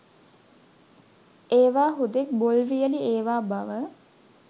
ඒවා හුදෙක් බොල් වියළි ඒවා බව